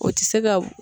O tɛ se ka